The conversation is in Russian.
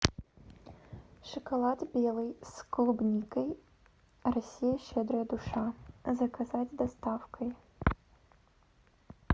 шоколад белый с клубникой россия щедрая душа заказать с доставкой